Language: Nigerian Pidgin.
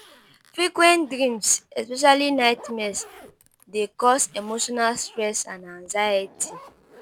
Frequent dreams especially nightmares dey cause emotional stress and anxiety